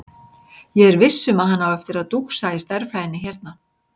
Ég er viss um að hann á eftir að dúxa í stærðfræðinni hérna.